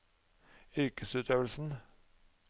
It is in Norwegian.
yrkesutøvelsen